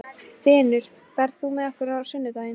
Þinur, ferð þú með okkur á sunnudaginn?